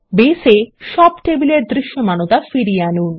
base এ সব টেবিলের দৃশ্যমানতা ফিরিয়ে আনুন